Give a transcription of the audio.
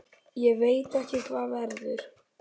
Ég veit ekki hvað verður.